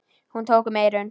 Hún tók um eyrun.